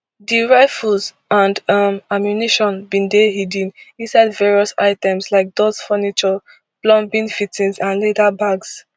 di rifles and um ammunition bin dey hidden inside various items like doors furniture plumbing fittings and leather bags